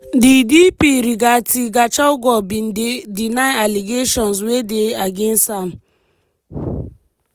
di dp rigathi gachagua bin deny allegations wey dey against am.